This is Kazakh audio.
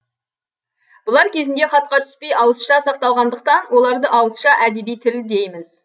бұлар кезінде хатқа түспей ауызша сақталғандықтан оларды ауызша әдеби тіл дейміз